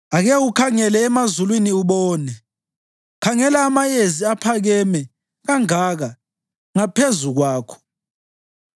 Ake ukhangele emazulwini ubone; khangela amayezi aphakeme kangaka ngaphezu kwakho.